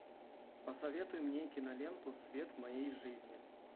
посоветуй мне киноленту свет моей жизни